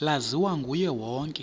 laziwa nguye wonke